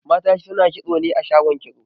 Mata suna kitso ne a shagon kitso